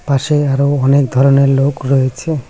পাশে আরও অনেক ধরনের লোক রয়েছে।